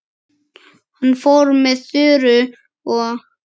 Hann fór með Þuru og